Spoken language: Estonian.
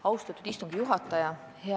Austatud istungi juhataja!